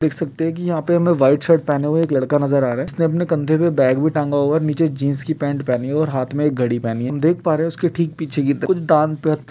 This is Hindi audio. देख सकते हैं कि यहाँ पे हमें वाईट शर्ट पहने हुए एक लड़का नजर आ रहा है जिसने अपने कंधे में बैग भी टंगा हुआ है और नीचे जिन्स की पैंट पहनी हुई है और हाथ में एक घड़ी पहनी है हम देख पा रहे है उसके ठीक पीछे ये दा कुछ दान पर --